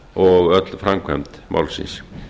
og öll framkvæmd málsins